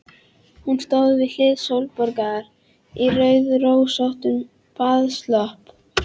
Hún stóð við hlið Sólborgar í rauðrósóttum baðslopp.